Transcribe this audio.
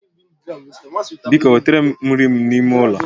Biko wetere m nri m n'ime ulo